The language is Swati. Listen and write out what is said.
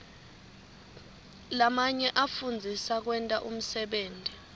lamanye afundzisa kwenta umsebenti